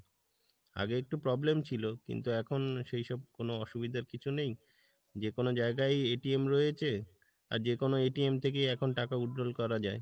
আগে একটু problem ছিল কিন্তু এখন সেই সব কোনো অসুবিধার কিছু নেই যে কোনো জায়গায় রয়েছে, আর যে কোনো থেকে এখন টাকা withdrawal করা যায়,